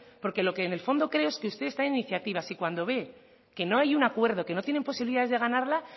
porque lo que en el fondo creo que ustedes traen iniciativas y cuando ve que no hay un acuerdo que no tienen posibilidades de ganarla